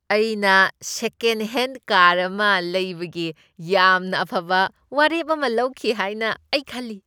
ꯑꯩꯅ second hand car ꯑꯃ ꯂꯩꯕꯒꯤ ꯌꯥꯝꯅ ꯑꯐꯕ ꯋꯥꯔꯦꯞ ꯑꯃ ꯂꯧꯈꯤ ꯍꯥꯏꯅ ꯑꯩ ꯈꯜꯂꯤ꯫